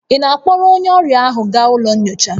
Ị na-akpọrọ onye ọrịa ahụ gaa ụlọ nyocha?